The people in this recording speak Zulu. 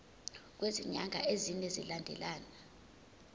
kwezinyanga ezine zilandelana